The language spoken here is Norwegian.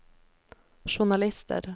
journalister